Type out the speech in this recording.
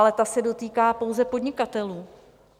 Ale ta se dotýká pouze podnikatelů.